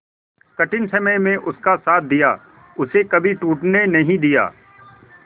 कठिन समय में उसका साथ दिया उसे कभी टूटने नहीं दिया